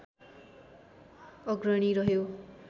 अग्रणी रह्यो